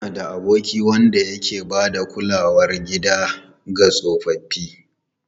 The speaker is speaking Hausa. Ina da aboki wanda ke ba da kulawar gida ga tsofaffi.